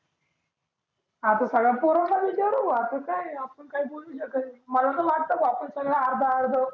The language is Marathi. आता सगळ्या पोरांना विचारु आपलं काय आहे आपण काही बोलु शकत नाही. मला तर वाटतय भो आपण सगळ आर्ध आर्ध